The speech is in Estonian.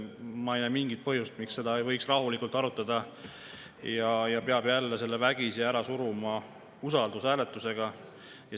Ma ei näe mingit põhjust, miks seda ei võiks rahulikult arutada, miks peab jälle selle vägisi läbi suruma usaldushääletusega.